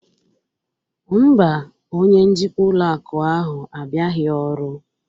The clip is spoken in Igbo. Mba, Onye njikwa ụlọ akụ ahụ abịaghị ọrụ